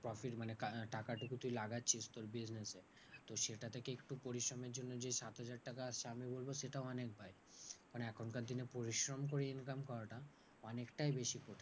Profit মানে কানা টাকাটুকু তুই লাগাচ্ছিস তোর business এ তো সেটা থেকে একটু পরিশ্রমের জন্য যে সাত হাজার টাকা আসছে আমি বলবো সেটা অনেক ভয়। মানে এখনকার দিনে পরিশ্রম করে income করাটা অনেকটাই বেশি কঠিন।